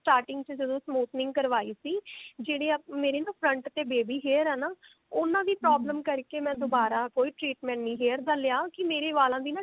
starting ਚ ਜਦੋਂ smoothening ਕਰਵਾਈ ਸੀ ਜਿਹੜੇ ਮੇਰੇ front ਤੇ baby hair ਆ ਨਾ ਉਹਨਾ ਦੀ problem ਕਰਕੇ ਮੈਂ ਦੁਬਾਰਾ ਕੋਈ treatment ਨਹੀਂ hair ਦਾ ਲਿਆ ਕਿ ਮੇਰੇ ਵਾਲਾਂ ਦੀ ਨਾ